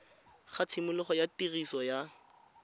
ga tshimologo ya tiriso ya